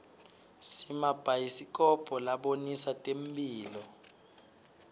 simabhayisikobho labonisa temphilo